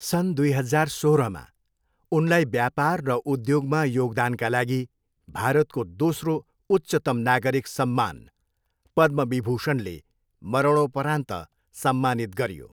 सन् दुई हजार सोह्रमा, उनलाई व्यापार र उद्योगमा योगदानका लागि भारतको दोस्रो उच्चतम नागरिक सम्मान पद्म विभूषणले मरणोपरान्त सम्मानित गरियो।